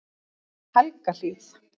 Helgahlíð